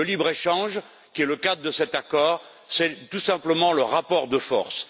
Le libre échange qui est le cadre de cet accord, c'est tout simplement le rapport de force.